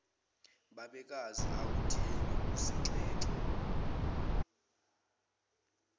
babekazi awudingi ukusinxenxa